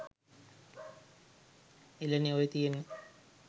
එළනේ ඔය තියෙන්නේ